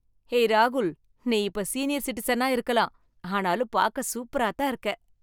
ஏய் ராகுல், நீ இப்ப சீனியர் சிட்டிசனா இருக்கலாம், ஆனாலும் பார்க்க சூப்பராதான் இருக்க.